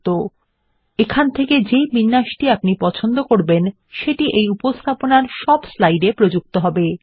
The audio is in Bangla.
তারপর এখানে আপনি আপনার পছন্দমত বিন্যাস ধার্য করতে পারেন যা উপস্থাপনার মধ্যে সব স্লাইডে প্রযুক্ত হবে